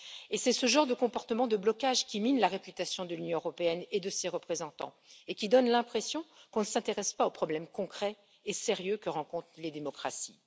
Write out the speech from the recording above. Et c'est ce genre de comportement de blocage qui mine la réputation de l'Union européenne et de ses représentants, et qui donne l'impression qu'on ne s'intéresse pas aux problèmes concrets et sérieux que rencontrent les démocraties.